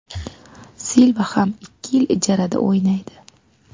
Silva ham ikki yil ijarada o‘ynaydi.